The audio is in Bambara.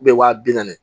wa bi naani